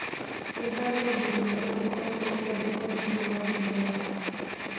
Nĩ harĩ ũndũ mwerũ ũkoretwo ũkĩandĩkwo thĩinĩ wa thimũ yakwa?